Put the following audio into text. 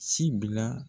Sibi la